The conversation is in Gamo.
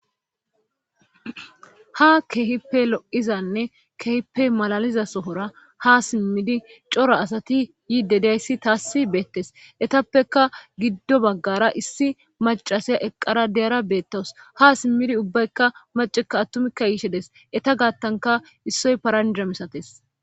Ha keehippe lo'izanne kehipe malaliza sohora ha simmidi cora asati yi dedayssi taassi beettes etappeka giddo baggara issi macasaya eqqara deyara beettaws ha simmidi ubbaykka macekka attumikka yiishedes eta gaattanka issoy paranja misates.